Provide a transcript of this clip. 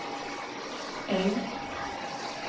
Äng